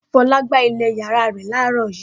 Fọlá gbálẹ̀ ìyàrá rẹ̀ láàárọ̀ yìí.